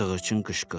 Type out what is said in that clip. Sığırçın qışqırdı.